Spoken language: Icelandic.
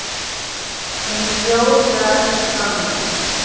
Hún hljóðar þannig